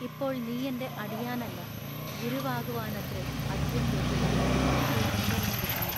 ഇപ്പോൾ നീയെന്റെ അടിയാനല്ല. ഗുരുവാകുവാനത്രെ അധികം യോഗ്യത എന്നു ഇപ്പോൾ കണ്ടറിഞ്ഞിരിക്കുന്നു.